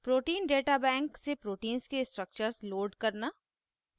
* proteins data bank pdb से proteins के structures load करना